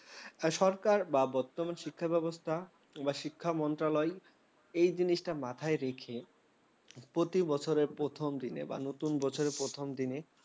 সরকার বা বর্তমান শিক্ষা ব্যবস্থা বা শিক্ষা মন্ত্রণালয় এই জিনিসটা মাথায় রেখে প্রতিবছরের প্রথম দিনে বা নতুন বছরের প্রথম দিনে